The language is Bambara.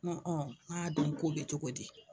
Ŋɔ ŋ'a dun ko be cogo di?